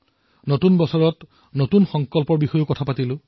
নতুন বছৰত নতুন সংকল্পৰ কথা কৈ আছিলো